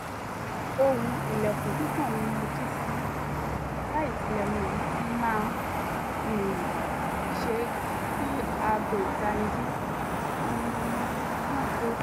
ohùn ilẹ̀kùn kíkàn ni mo jí sí láìtilẹ̀ mọ èyí tí màá um ṣe kí aago ìtannijí um náà tó